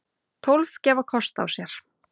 Tólf gefa kost á sér.